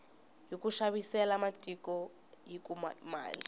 hiku xavisela matiko hi kuma mali